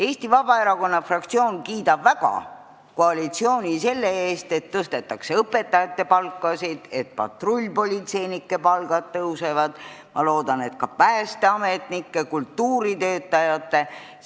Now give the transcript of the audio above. Eesti Vabaerakonna fraktsioon kiidab väga koalitsiooni selle eest, et tõstetakse õpetajate palkasid, et patrullpolitseinike palgad tõusevad ja ma loodan, et ka päästeametnike ja kultuuritöötajate omad.